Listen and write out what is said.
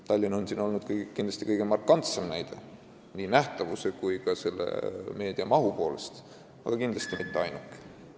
Tallinn on olnud siin kõige markantsem näide nii nähtavuse kui ka meedia mahu poolest, aga mitte ainuke.